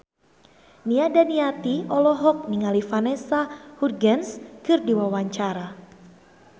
Nia Daniati olohok ningali Vanessa Hudgens keur diwawancara